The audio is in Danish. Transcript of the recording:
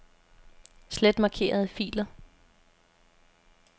Slet markerede filer.